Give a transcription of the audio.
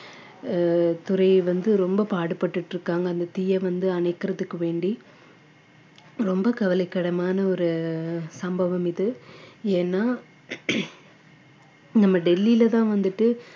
அஹ் துறை வந்து ரொம்ப பாடுபட்டுட்டு இருக்காங்க அந்த தீயை வந்து அணைக்கிறதுக்கு வேண்டி ரொம்ப கவலைக்கிடமான ஒரு சம்பவம் இது ஏன்னா நம்ம டெல்லியிலதான் வந்துட்டு